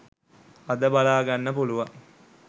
අද බලාගන්න පුළුවන්